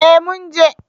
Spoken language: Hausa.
Eh mun je